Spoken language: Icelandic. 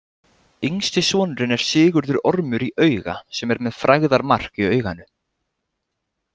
Yngsti sonurinn er Sigurður ormur í auga sem er með „frægðarmark“ í auganu.